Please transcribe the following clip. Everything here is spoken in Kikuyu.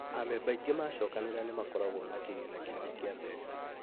Amemba aingĩ macokanĩrĩra nĩ makoragwo na kĩgĩna kĩnene kĩa mbeca